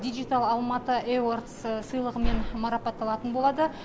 дигитал алматы эвердс сыйлығымен марапатталатын болады